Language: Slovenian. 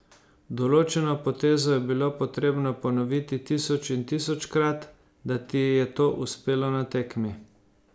Določeno potezo je bilo potrebno ponoviti tisoč in tisočkrat, da ti je to uspelo na tekmi.